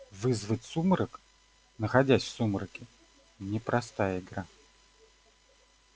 вызвать сумрак находясь в сумраке непростая игра